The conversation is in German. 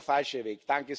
Das ist der falsche Weg.